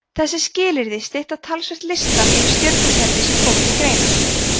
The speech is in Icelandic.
þessi skilyrði stytta talsvert listann yfir stjörnukerfi sem koma til greina